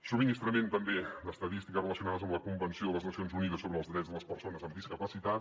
subministrament també d’estadístiques relacionades amb la convenció de les nacions unides sobre els drets de les persones amb discapacitat